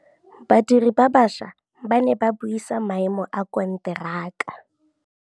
Badiri ba baša ba ne ba buisa maêmô a konteraka.